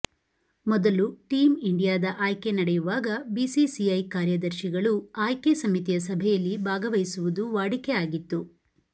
ಮೊದಲು ಟೀಮ್ ಇಂಡಿಯಾದ ಆಯ್ಕೆ ನಡೆಯುವಾಗ ಬಿಸಿಸಿಐ ಕಾರ್ಯದರ್ಶಿಗಳು ಆಯ್ಕೆ ಸಮಿತಿಯ ಸಭೆಯಲ್ಲಿ ಭಾಗವಹಿಸುವುದು ವಾಡಿಕೆ ಆಗಿತ್ತು